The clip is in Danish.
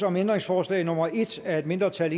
om ændringsforslag nummer en af et mindretal